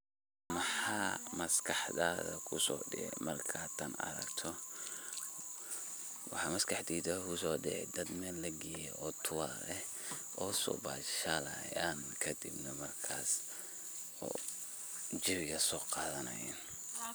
Maxa maskaxdadha ku soo dhacaya markaad tan aragto waxa maskaxdeyda kuso dhacay dad meel lagey oo tour eh o so bashalayan kadib markaso jawigas soqadhanayan.